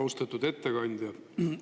Austatud ettekandja!